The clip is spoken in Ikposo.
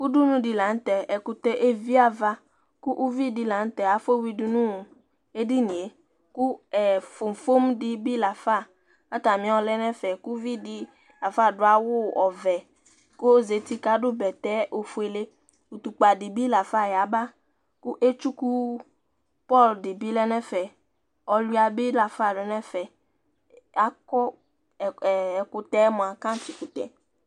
Ʋɖʋnu ɖi la ŋtɛ Ɛkutɛ levi ava Ʋviɖi la ŋtɛ afɔ wʋidu ŋu edinie Fofom ɖìbí lafa kʋ ataŋi ayɔ lɛnu ɛfɛ Ʋviɖi bi lafa aɖu awu ɔvɛ kʋ ɔzɛti kʋ aɖu bɛtɛ ɔfʋele Ɔtukpa ɖìbí lafa yaba Etsʋku pɔr ɖìbí lɛ ŋu ɛfɛ Ɛwuɛ ɖìbí lafa lɛŋʋ ɛfɛ Akɔ ɛkʋtɛ mʋa kɛntsi kʋtɛ